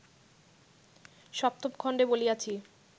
সপ্তম খণ্ডে বলিয়াছি